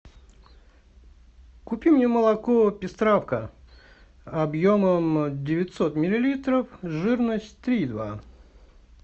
купи мне молоко пестравка объемом девятьсот миллилитров жирность три и два